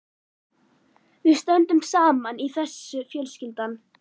Við stöndum saman í þessu fjölskyldan.